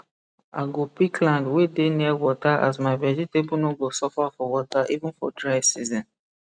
i go pick land wey dey near water as my vegetable no go suffer for water even for dry season